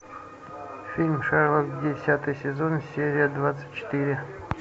фильм шерлок десятый сезон серия двадцать четыре